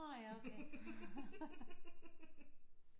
Nå ja okay